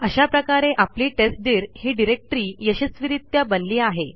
अशा प्रकारे आपली टेस्टदीर ही डिरेक्टरी यशस्वीरित्या बनली आहे